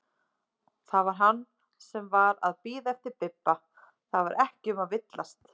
Það var hann sem var að bíða eftir Bibba, það var ekki um að villast!